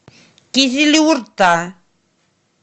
кизилюрта